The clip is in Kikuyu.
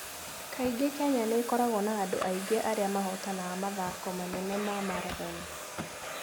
Kaingĩ Kenya nĩ ĩkoragwo na andũ aingĩ arĩa mahotanaga mathaako manene ma marathoni.